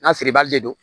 N'a feere bali de don